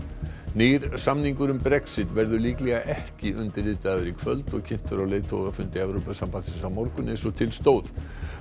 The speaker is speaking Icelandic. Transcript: nýr samningur um Brexit verður líklega ekki undirritaður í kvöld og kynntur á leiðtogafundi Evrópusambandsins á morgun eins og til stóð